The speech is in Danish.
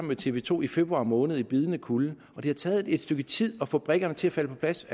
med tv to i februar måned i bidende kulde og det har taget et stykke tid at få brikkerne til at falde på plads